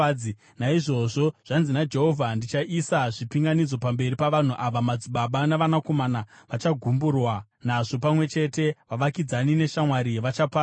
Naizvozvo zvanzi naJehovha: “Ndichaisa zvipinganidzo pamberi pavanhu ava. Madzibaba navanakomana vachagumburwa nazvo pamwe chete, vavakidzani neshamwari vachaparara.”